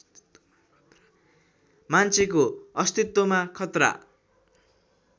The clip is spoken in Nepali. मान्छेको अस्तित्वमा खतरा